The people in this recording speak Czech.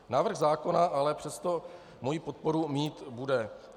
Návrh zákona ale přesto moji podporu mít bude.